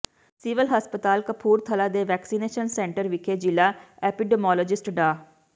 civil ਹਸਪਤਾਲ ਕਪੂਰਥਲਾ ਦੇ vaccination centre ਵਿਖੇ ਜਿਲਾ ਐਪੀਡੀਮੋਲੋਜਿਸਟ ਡਾ